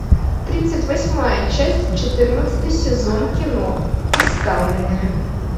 тридцать восьмая часть четырнадцатый сезон кино оставленные